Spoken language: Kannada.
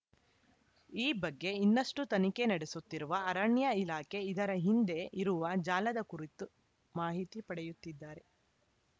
ಈ ಬಗ್ಗೆ ಇನ್ನಷ್ಟುತನಿಖೆ ನಡೆಸುತ್ತಿರುವ ಅರಣ್ಯ ಇಲಾಖೆ ಇದರ ಹಿಂದೆ ಇರುವ ಜಾಲದ ಕುರಿತು ಮಾಹಿತಿ ಪಡೆಯುತ್ತಿದ್ದಾರೆ